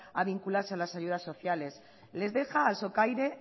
a vincularse a las ayudas sociales les deja al socaire